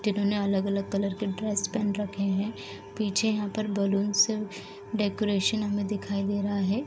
जिन्होंने अलग-अलग कलर के ड्रेस पहन रखे हैं। पीछे यहाँ पर बलूंस डेकोरेशन हमे दिखाई दे रहा है।